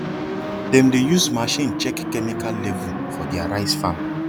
them dey use machine check chemical level for their rice farm